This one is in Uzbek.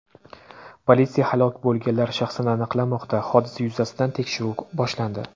Politsiya halok bo‘lganlar shaxsini aniqlamoqda, hodisa yuzasidan tekshiruv boshlandi.